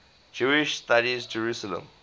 jewish studies jerusalem